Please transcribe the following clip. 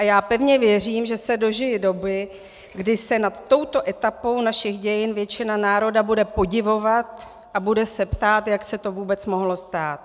A já pevně věřím, že se dožiji doby, kdy se nad touto etapou našich dějin většina národa bude podivovat a bude se ptát, jak se to vůbec mohlo stát.